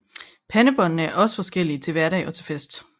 Pandebåndene er også forskellige til hverdag og til fest